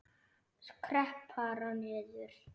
Skrepp bara niður.